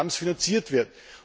7. Programms finanziert wird.